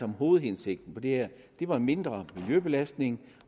hovedhensigter med det her er mindre miljøbelastning